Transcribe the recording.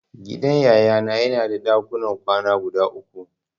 Gidan Yayana yana da dakunan kwana guda uku.